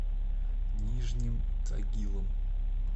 нижним тагилом